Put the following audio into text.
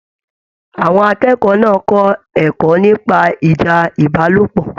Àwọn akẹ́kọ̀ọ́ náà kọ ẹ̀kọ́ nípa ìjà ìbálòpọ̀.